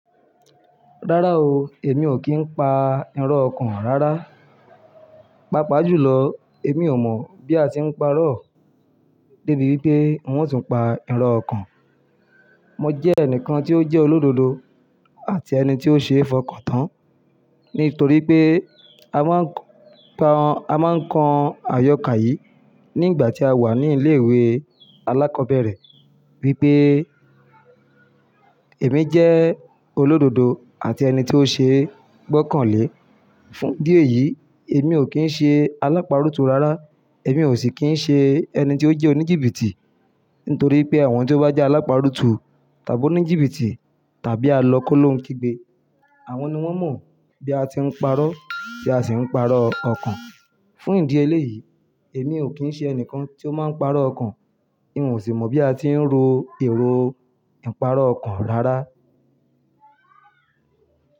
Rárá o, èmi ò kí ń pa irọ́ o rárá. Pápa jùlọ, èmi ò mọ̀ bí a ti ń pa irọ́. Débi wípé wọn tún ń pa irọ́ ọkàn. Mo jẹ́ ẹnìkan tí ó jẹ́ olódodo àti ẹni tí ó ṣeé fọkàn tán. Nítorí pé a máa ń pa, a máa ń kan àyọkà yìí nígbà tí a wà ní ilé ìwé alákọ̀ọ́bẹ̀rẹ̀ wípé èmi jẹ́ olódodo àti ẹni tí ó ṣe gbọ́kànlé. Fún ìdí èyí, èmi ò kí ń ṣe alápá rútù rárá. Èmi ò sì kín ń ṣe ẹni tí ó jẹ́ oníjìbìtì. Nítorí pé àwọn tí ó bá jẹ́ alápá rútù tàbí oníjìbìtì tàbí a lọ kólónkigbe, àwọn ni wọ́n mọ̀ bí a ti ń parọ́ tí a sì ń parọ́ ọkàn. Fún ìdí eléyìí, èmi ò kín ń ṣe ẹnìkan tí ó máa ń parọ́ ọkàn. Èmi ò sì mọ bí a ti ń ro èrò ìparọ́ ọkàn rárá.